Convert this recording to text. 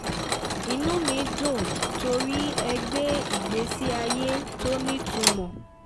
inú mi dùn torí ẹ gbé ìgbésí ayé tó nítumọ̀